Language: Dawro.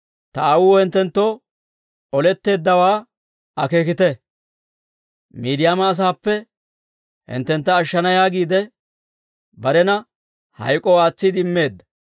Ta aawuu hinttenttoo oletteeddawaa akeekite; Miidiyaama asaappe hinttentta ashshana yaagiide, barena hayk'k'oo aatsiide immeedda.